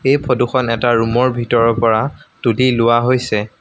এই ফটো খন এটা ৰুম ৰ ভিতৰৰ পৰা তুলি লোৱা হৈছে।